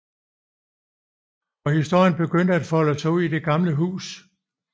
Og historierne begynder at folde sig ud i det gamle hus